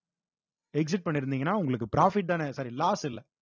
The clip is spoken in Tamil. exit பண்ணிருந்தீங்கன்னா உங்களுக்கு profit தானே sorry loss இல்ல